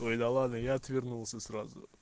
ой да ладно я отвернулся сразу